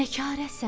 Nəkarəsən?